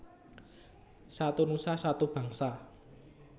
Satu Nusa Satu Bangsa